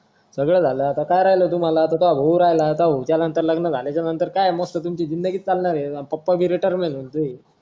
सगळं झालं आता काय राहील तुम्हाला आता तॉ होऊ राहील आता त्यानंतर लग्न झाल्याच्या नतर काय मस्त तुमची जिंदगी च चालणार ये आता पप्पा भी retire होऊन जातील